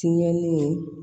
Tiɲɛlen